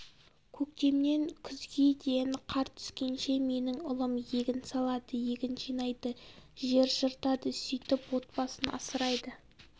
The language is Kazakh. көктемнен күзге дейін қар түскенше менің ұлым егін салады егін жинайды жер жыртады сөйтіп отбасын асырайды